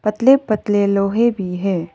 पतले पतले लोहे भी है।